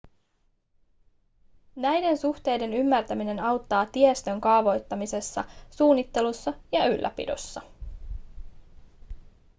näiden suhteiden ymmärtäminen auttaa tiestön kaavoittamisessa suunnittelussa ja ylläpidossa